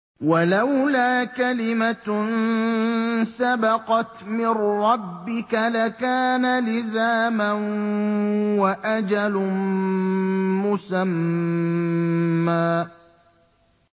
وَلَوْلَا كَلِمَةٌ سَبَقَتْ مِن رَّبِّكَ لَكَانَ لِزَامًا وَأَجَلٌ مُّسَمًّى